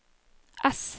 S